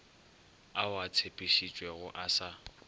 ao a tshepišitšwego a sa